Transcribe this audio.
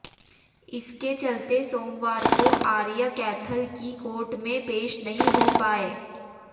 इसके चलते सोमवार को आर्य कैथल की कोर्ट में पेश नहीं हो पाए